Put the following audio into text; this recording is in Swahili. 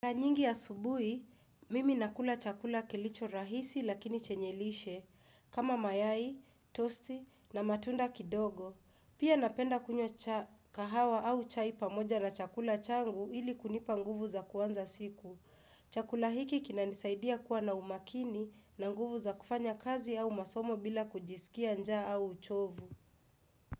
Mara nyingi asubui, mimi nakula chakula kilicho rahisi lakini chenye lishe kama mayai, toasty na matunda kidogo. Pia napenda kunywa kahawa au chai pamoja na chakula changu ili kunipa nguvu za kuanza siku. Chakula hiki kinanisaidia kuwa na umakini na nguvu za kufanya kazi au masomo bila kujisikia njaa au uchovu.